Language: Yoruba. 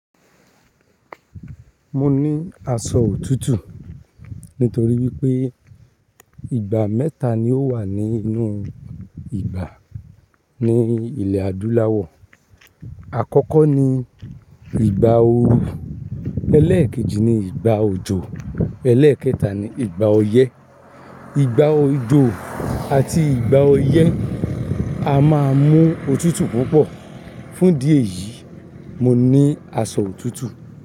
Mo ní aṣọ òtútù nítorí wípé ìgbà mẹ́ta ni ó wà nínú ìgbà ní ilẹ̀ adúláwọ̀. Àkọ́kọ́ ni ìgbà oru, ẹlẹ́ẹ̀kejì ni ìgbà òjò, ẹlẹ́ẹ̀kẹta ni ìgbà ọyẹ́. Ìgbà òjò àti ìgbà ọyẹ́ a máa mú òtútù púpọ̀. Fún díẹ̀ yìí, mo ní aṣọ òtútù.